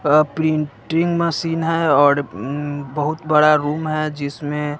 वह printing machine है और अं बहुत बड़ा रूम है जिसमें--